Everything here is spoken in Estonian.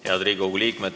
Head Riigikogu liikmed!